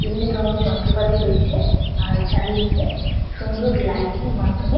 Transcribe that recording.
এমনি ধরনের যন্ত্রপাতি রয়েছে চারিদিকে সুন্দর লাইটিং এর মাধ্যমে।